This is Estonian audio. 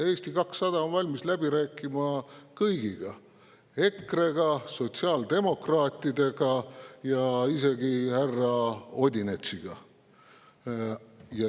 Eesti 200 on valmis läbi rääkima kõigiga: EKRE‑ga, sotsiaaldemokraatidega ja isegi härra Odinetsiga.